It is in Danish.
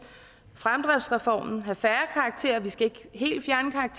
fremdriftsreformen have færre karakterer vi skal ikke helt